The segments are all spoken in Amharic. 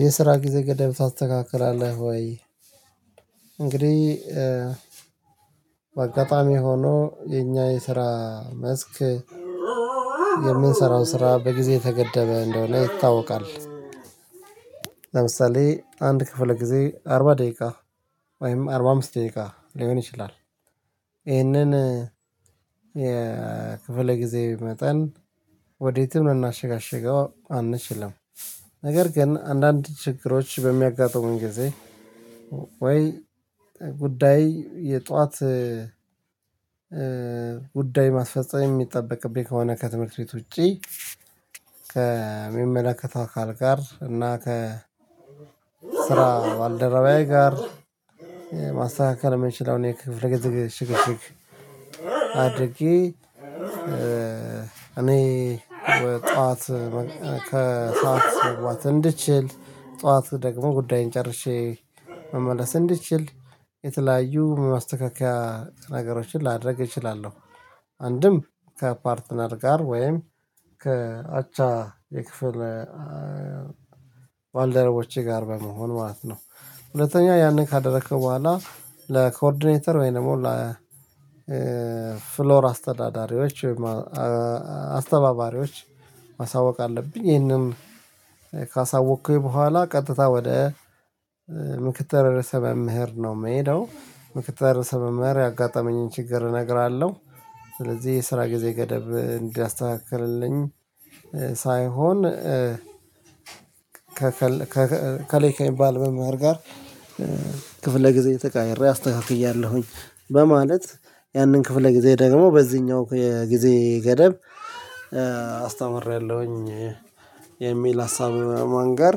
የስራ ጊዜ ገደብ ታስተካክላለህ ወይ? እንግዲህ በአጋጣሚ ሆኖ የኛ የስራ መስክ የምንሰራው ስራ በጊዜ ተገደበ እንደሆነ ይታወቃል። ለምሳሌ አንድ ክፍለ ጊዜ አርባ ደቂቃ ወይም አርባ አምስት ደቂቃ ሊሆን ይችላል። ይህንን የክፍለ ጊዜ መጠን ወዴትም እናሸጋሽገው አንችልም። ነገር ግን አንዳንድ ችግሮች በሚያጋጥሙን ጊዜ ወይ ጉዳይ የጧት ጉዳይ ማስፈጸም የሚጠበቅብኝ ከሆነ ከትምህርት ቤት ውጪ ከሚመለከተው አካል ጋር እና ከ ስራ ባልደረባዬ ጋር ማስተካከል የምንችለው እኔ ክፍለ ጊዜ ሽግሽግ። አድርጌ እኔ ጠዋት ከሰአት ስትረዋት እንድችል ጧት ደግሞ ጉዳይን ጨርሼ መመለስ እንድችል የተለያዩ ማስተካከያ ነገሮችን ላደርግ እችላለሁ አንድም ከፓርትነር ጋር ወይም ከአቻ የክፍል ባልደረቦቼ ጋር በመሆን ማለት ነው። ሁለተኛ ያንን ካደረከው በኋላ ለኮርዲኔተር ወይም ደግሞ ለ ፍሎር አስተዳዳሪዎች አስተባባሪዎች ማሳወቅ አለብኝ ይሄንን ካሳወቅኩኝ በኋላ ቀጥታ ወደ ምክትል ርዕሰ መምህርት ነው የምሄደው ምክትል ርዕሰ መምህርት ያጋጠመኝን ችግር እነግራለሁ። ስለዚህ የስራ ጊዜ ገደብ እንዲያስተካክልልኝ ሳይሆን ከሌከኝ ባልመማር ጋር ክፍለ ጊዜ ተቀይሬ አስተካክያለሁኝ በማለት ያንን ክፍለ ጊዜ ደግሞ በዚህኛው የጊዜ ገደብ አስተምሬያለሁኝ። የሚል ሀሳብ ማን ጋር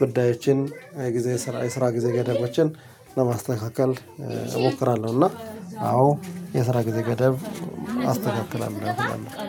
ጉዳዮችን የስራ ጊዜ ገደባችን ለማስተካከል እሞክራለሁ እና አዎ የስራ ጊዜ ገደብ አስተካክላለሁ።